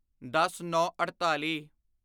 ਦਸਨੌਂਅੜਤਾਲੀ